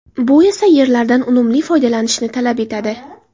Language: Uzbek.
Bu esa yerlardan unumli foydalanishni talab etadi.